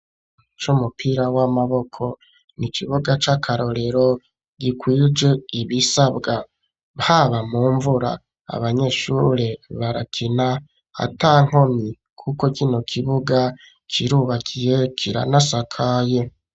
Co umupira w'amaboko ni ikibuga c'akarorero gikwije ibisabwa paba mu mvura abanyeshure barakina ata nkomi, kuko gino kibuga kirubakiye kira na sakayo.